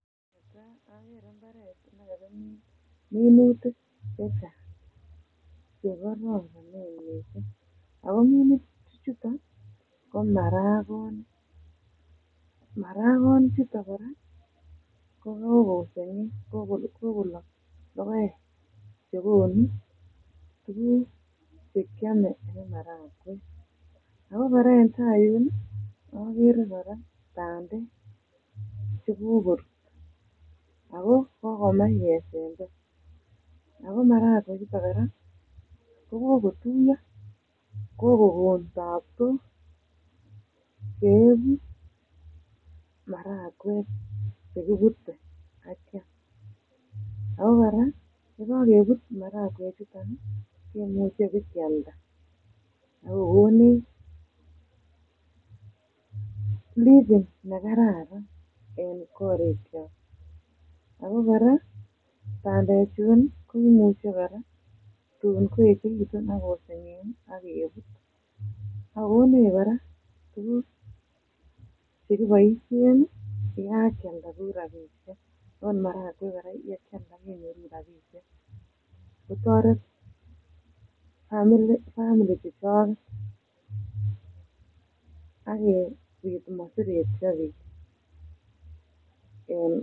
Minutik chechang che kororonen miisik ago minutik ichuton ko marakonik marakonik ichuton koraa kokosengek kogolok logoek chekonu tuguk che kyame en maragweek, ago koraa en taiyun ii tai en ireyu agere kora bandek chekokorut ago kokomach kesember ago maragweek ichuton koraaa ko kokotuiyo ko kokon taptok cheegu maragweek chekibute ak keyam, ago koraa yekankebut maragweek ii ichuton kimuche bikealda ago konech living ne kararan ago koraa bande chun komuche koraa kotun koechegitun ak kosengek ak kebut Ago konech koraa tuguk che koboisien yekankealda ku rabishek ot maragweek koraa yekankealda kenyoru rabishek kotoret um families chechoket ak kobit komosertio biik en.